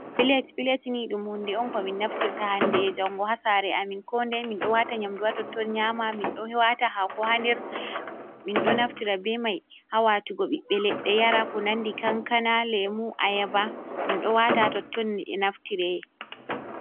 Pilet. Pilet ni ɗum hunde on ko min naftirta hande e jango ha saare amin, ko dei min ɗo wata nyamdu haa totton nyama, min ɗo wata hako haa nder, min ɗo naftira be mai ha watugo ɓiɓɓe leɗɗe yara ko nandi kankana, lemu, ayaba min ɗo wata totton ne naftireye.